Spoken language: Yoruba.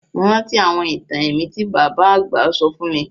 Mo rántí àwọn itan ẹ̀mí ti baba àgbà sọ fun mi